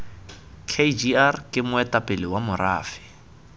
kgr ke moetapele wa morafe